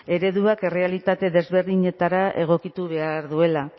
ereduak errealitate ezberdinetara egokitu behar duela